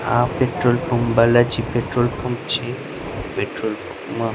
આ petrol pump Balaji petrol pump છે petrol pump માં--